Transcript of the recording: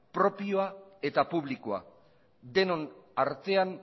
propioa eta publikoa denon artean